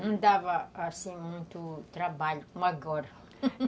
Não dava, assim, muito trabalho, uma agora.